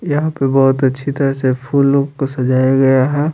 यहाँ पर बहुत अच्छी तरह से फूल को सजाया गया है।